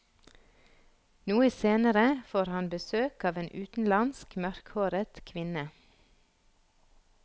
Noe senere får han besøk av en utenlandsk, mørkhåret kvinne.